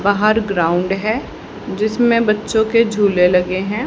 बाहर ग्राउंड है जिसमें बच्चों के झूले लगे हैं।